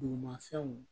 Dugumafɛnw